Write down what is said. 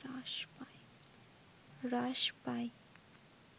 হ্রাস পায়